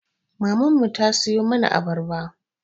Maman mu ta siyo mana abarba